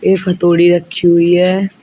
एक हथौड़ी रखी हुई है।